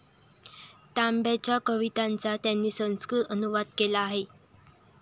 तांब्यांच्या कवितांचा त्यांनी संस्कृत अनुवाद केला आहे.